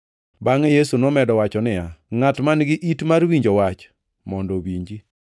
Bangʼe Yesu nomedo wacho niya, “Ngʼat man-gi it mar winjo wach mondo owinji.”